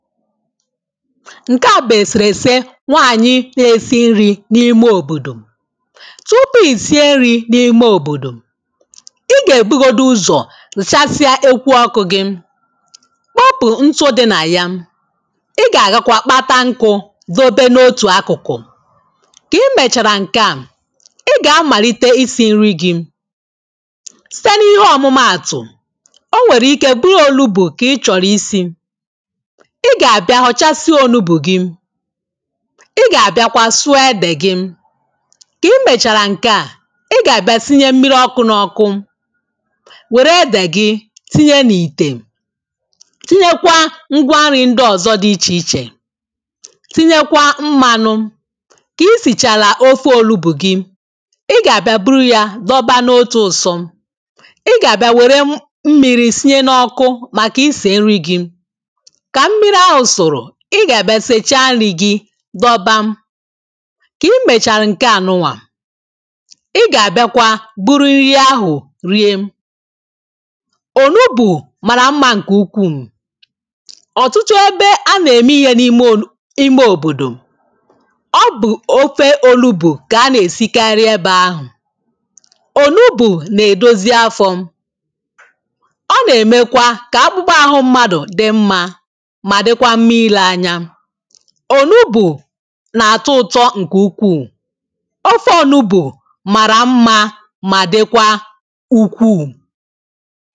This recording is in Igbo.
ǹkè a bụ̀ èsèrèse nwaànyị̀ na-esi nri̇ n’ime òbòdò tupu ì sie nri̇ n’ime òbòdò ị gà-èbugodu ụzọ̀ gụ̀sàsịa ekwu ọkụ̇ gị kpọpụ̀ ntụ dị nà ya ị gà-àgakwa kpata nkụ̇ dòbe n’otù akụ̀kụ̀ kà i mèchàrà ǹke à ị gà-amàlite isi̇ nri gị̇ site n’ihe ọ̀mụmaàtụ̀ o nwèrè ike bụrụ onugbu kà ị chọ̀rọ̀ isi̇ ị gà-àbịa họ̀chasịo ònugbù gị ị gà-àbịakwa sụọ ede gị kà i mbèchàrà ǹke a ị gà-àbịa sinye mmiri ọkụ n’ọkụ wèrè ede gị tinye n’ìtè tinyekwa ngwa nri̇ ndị ọ̀zọ dị ichè ichè tinyekwa mmanụ kà i sìchàrà ofi òlubù gị ị gà-àbịa buru ya dọba n’otu ụ̀sọ ị gà-àbịa wère mmiri sinye n’ọkụ màkà isì nri gị ị ga-abịa nchecha nri̇ gi dọba ka i mecharu nke anụnwa ị ga-abịakwa buru nri ahụ̀ rie onubu mara mma nke ukwuu ọtụtụ ebe a na-eme ihe n’ime ime obodo ọ bụ ofe onugbu ka a na-esikarị ebe ahụ̀ onugbu na-edozi afọ̀ ọ na-emekwa ka akpụkpọ ahụ mmadụ̀ dị mma ònugbù nà-àtọ ụtọ ǹkè ukwuù ofe ọnugbù màrà mma mà dịkwa ukwuù